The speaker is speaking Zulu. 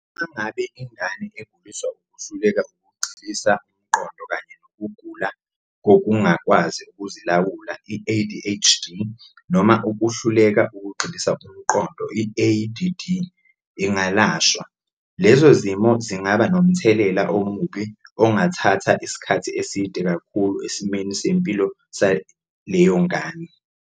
Uma ngabe ingane eguliswa ukuhluleka ukugxilisa umqondo kanye nokugula kokungakwazi ukuzilawula, i-ADHD noma ukuhluleka ukugxilisa umqondo, i-ADD, ingalashwa, lezo zimo zingaba nomthelela omubi ongathatha isikhathi eside kakhulu esimweni sempilo saleyo ngane.